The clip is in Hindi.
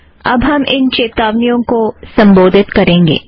अब हम इन चेतावनियों को संबोधित करेंगे